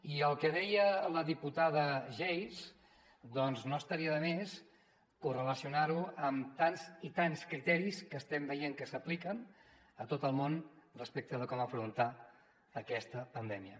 i el que deia la diputada geis doncs no estaria de més correlacionar ho amb tants i tants criteris que estem veient que s’apliquen a tot el món respecte de com afrontar aquesta pandèmia